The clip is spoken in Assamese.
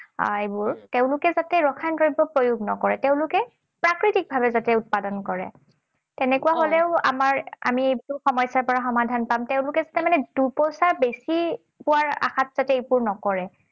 এইবোৰ, তেওঁলোকে যাতে ৰসায়ন দ্ৰব্য প্ৰয়োগ নকৰে। তেওঁলোকে প্ৰাকৃতিক ভাৱে উৎপাদন কৰে। তেনেকুৱা হলেও আমাৰ আমি এই সমস্যাৰ পৰা সমাধান পাম। তেওঁলোকে যাতে মানে দুপইছা বেছি পোৱাৰ আশাত যাতে মানে এইবোৰ নকৰে।